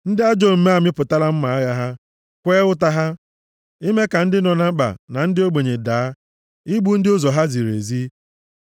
Ndị ajọ omume amịpụtala mma agha ha, kwee ụta ha ime ka ndị nọ na mkpa na ndị ogbenye daa, igbu ndị ụzọ ha ziri ezi.